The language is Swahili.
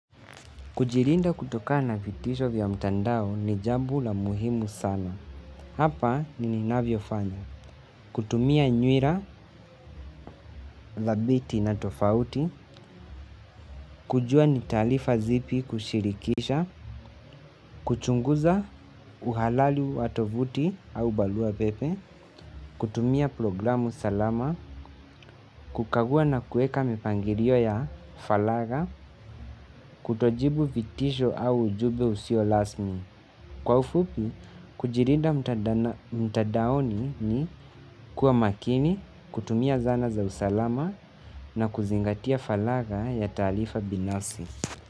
Kujirinda kutokana na vitisho vya mtandao ni jambo la muhimu sana. Hapa ni ninavyofanya. Kutumia nywira, dhabiti na tofauti. Kujua ni taalifa zipi kushirikisha. Kuchunguza uhalali wa tovuti au balua pepe. Kutumia programu salama. Kukagua na kueka mipangirio ya falaga. Kutojibu vitisho au ujube usio lasmi. Kwa ufupi, kujirinda mtadaoni ni kuwa makini, kutumia zana za usalama na kuzingatia falaga ya taalifa binasi.